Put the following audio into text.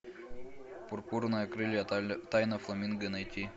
пурпурные крылья тайна фламинго найти